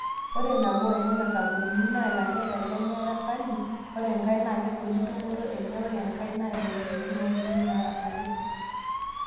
Ore Nabo enena sababuni naa ilanterera lemeeta falio ore nkae naa kegoli tumoto enye ore enkae naa moyiaritin o nkukuni naarasaki.